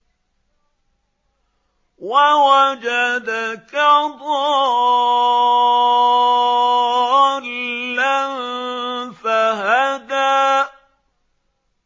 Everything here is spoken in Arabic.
وَوَجَدَكَ ضَالًّا فَهَدَىٰ